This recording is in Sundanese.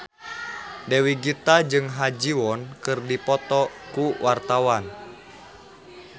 Dewi Gita jeung Ha Ji Won keur dipoto ku wartawan